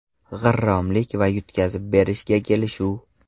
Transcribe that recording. G‘irromlik va yutqazib berishga kelishuv.